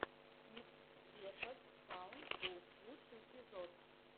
гифтс весос саунд ту лучший эпизод